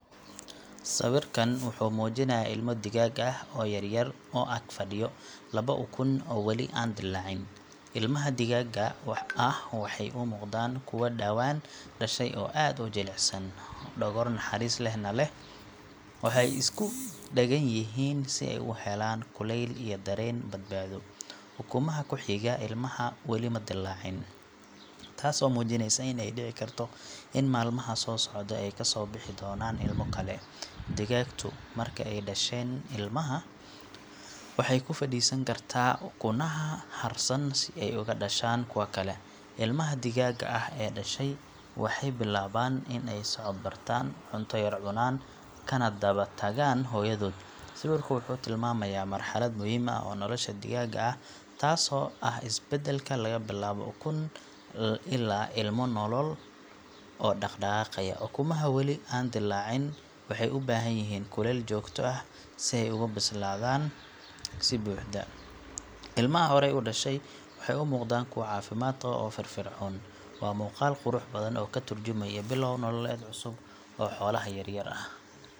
Digaaggu marka uu doonayo inuu dhasho ukumo wuxuu bilaabaa inuu meel gaar ah ku nasto isagoo ukumaha si taxadar leh u dul fadhiya. Digaagta dhasha ukumaha waxaa la yiraahdaa hooyo digaagad ah waxayna caadi ahaan dhashaa ilaa labaatan maalmood. Inta ay fadhido kuma dhaqaaqdo si badan mana ka tagto ukumaha in ka badan dhowr daqiiqo maalintii si ay biyo ama cunto u cabto. Digaagtu waxay u baahan tahay degaan degan, diirran, oo aan buuq lahayn si ukumaha u bislaadaan si fiican. Inta badan waxay daryeeshaa ukumaha iyadoo jirkeeda kulkiisa ku darsaneysa si ukumaha u kululaadaan. Marka waqtigii la dhammeeyo ee ukumaha ay bislaadaan waxaa bilaabmaya in ukun kasta uu ka soo baxo digaag yar oo la yiraahdo ilmo digaag. Hooyada digaagta ah waxay sii waddaa inay ilaaliso ilmaheeda marka ay dhasheen iyadoo ay la socoto meel walba oo ay aadaan. Digaagta wanaagsan waxay tahay mid dulqaad badan oo si fiican u kori karta ubadkeeda. Ukumaha aan kul kululayn si joogto ah ma dhalmaan, waana muhiim in digaagta ay si joogto ah ugu fadhido si ay uga dhashaan ilmo caafimaad qaba. Digaagta dabiiciga ah ee dhasha ukumaha waa muhiim dhanka beeraha iyo dadka ku tiirsan dhaqashada xoolaha yaryar si ay cunto uga helaan.